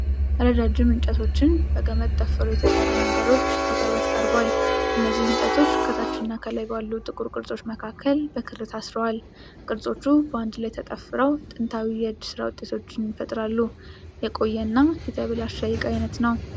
ረጃጅም እንጨቶችን በገመድ ጠፍረው የተሰሩ ነገሮች በቅርበት ቀርቧል። እነዚህ እንጨቶች ከታች እና ከላይ ባሉ ጥቁር ቅርጾች መካከል በክር ታስረዋል። ቅርጾቹ በአንድ ላይ ተጠፍረው ጥንታዊ የእጅ ሥራ ውጤትን ይፈጥራሉ። የቆየ እና የተበላሸ የዕቃ ዓይነት ነው።